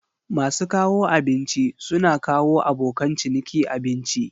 Masu kawo abinci suna kawo abokan ciniki abinci.